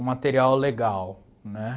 um material legal, né?